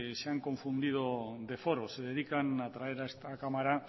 se han confundido de foro se dedican a traer a esta cámara